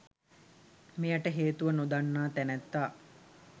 මෙයට හේතුව නොදන්නා තැනැත්තා